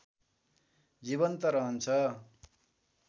जीवन्त रहन्छ